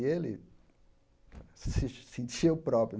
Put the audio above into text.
E ele se sentia o próprio.